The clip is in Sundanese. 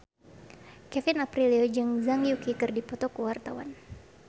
Kevin Aprilio jeung Zhang Yuqi keur dipoto ku wartawan